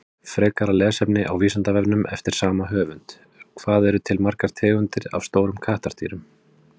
Frekara lesefni á Vísindavefnum eftir sama höfund: Hvað eru til margar tegundir af stórum kattardýrum?